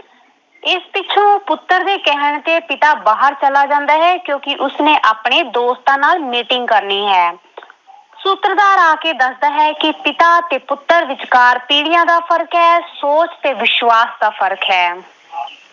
ਪੁੱਤਰ ਦੇ ਕਹਿਣ ਤੇ ਪਿਤਾ ਬਾਹਰ ਚਲਾ ਜਾਂਦਾ ਹੈ ਕਿਉਂਕਿ ਉਸਨੇ ਆਪਣੇ ਦੋਸਤਾਂ ਨਾਲ meeting ਕਰਨੀ ਹੈ। ਸੂਤਰਧਾਰ ਆ ਕੇ ਦੱਸਦਾ ਹੈ ਕਿ ਪਿਤਾ ਅਤੇ ਪੁੱਤਰ ਵਿਚਕਾਰ ਪੀੜ੍ਹੀਆਂ ਦਾ ਫਰਕ ਹੈ ਸੋਚ ਤੇ ਵਿਸ਼ਵਾਸ ਦਾ ਫਰਕ ਹੈ।